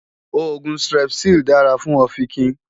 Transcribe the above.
Oògùn Strepsil dára fún ọ̀fìnkìn